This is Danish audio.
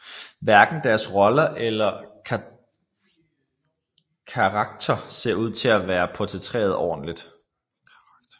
Hverken deres roller eller karakter ser ud til at være portrætteret ordentligt